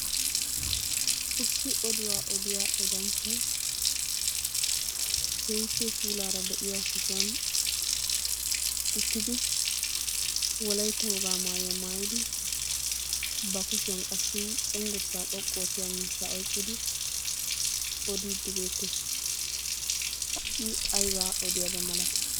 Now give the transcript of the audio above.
Issi oduwaa odiya odanchchay keehippe puulara de'iya sohuwan uttidi wolaytta wogaa maayuwaa maayidi ba kushiyan qassi cenggurssaa xoqqu oottiya miishshaa oyiqqidi odiidi beettees. I aybaa odiyaba malatiy?